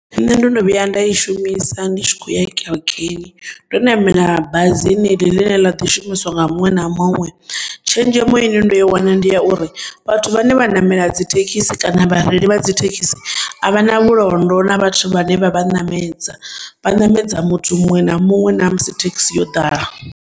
Nne ndo no vhuya nda yi shumisa nditshi khouya kerekeni ndo namela bazi ḽeḽi ḽine ḽaḓi shumiswa nga muṅwe na muṅwe tshenzhemo ine ndo iwana ndiya uri vhathu vhane vha namela dzi thekisi kana vha reili vha dzi thekisi, a vha na vhulondo na vhathu vhane vha vhanamedza, vhanemedza muthu muṅwe na muṅwe namusi thekisi yo ḓala.